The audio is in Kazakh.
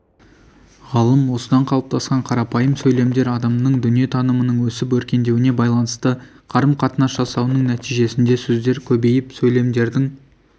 ғалым осыдан қалыптасқан қарапайым сөйлемдер адамның дүниетанымының өсіп өркендеуіне байланысты қарым-қатынас жасауының нәтижесінде сөздер көбейіп сөйлемдердің